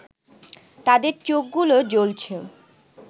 তাদের চোখগুলো জ্বলছে